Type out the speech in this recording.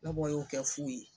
Nabɔ y'o kɛ fu ye